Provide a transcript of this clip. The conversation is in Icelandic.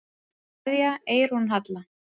Kveðja, Eyrún Halla.